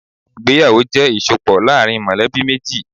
Ìgbéyàwó jẹ́ ìsopọ̀ láàrin mọ̀lẹ́bí méjì.